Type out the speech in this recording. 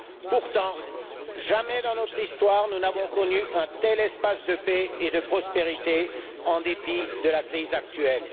Pourtant, jamais dans notre histoire nous n'avons connu un tel espace de paix et de prospérité en dépit de la crise actuelle.